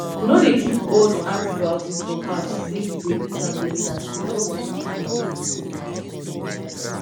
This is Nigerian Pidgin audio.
no dey keep old antibiotics for house say you go use am later e no good